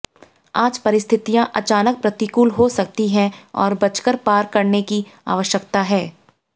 आज परिस्थितियां अचानक प्रतिकूल हो सकती हैं और बचकर पार करने की आवश्यकता है